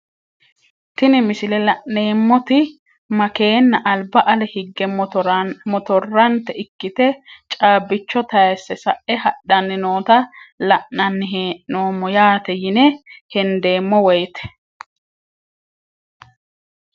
Tini misilete la`neemoti makeenna albba ale hige motorante ikite caabicho tayiise sa`e haddhani noota la`nani heenomo yaate yine hendemo woyite.